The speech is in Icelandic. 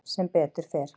Sem betur fer